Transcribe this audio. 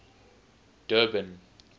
durban